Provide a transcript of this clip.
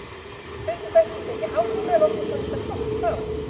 Kaupið þætti víst ekki hátt núna, en okkur fannst það gott þá.